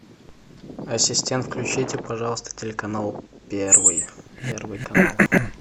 ассистент включите пожалуйста телеканал первый первый канал